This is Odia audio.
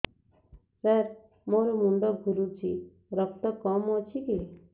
ସାର ମୋର ମୁଣ୍ଡ ଘୁରୁଛି ରକ୍ତ କମ ଅଛି କି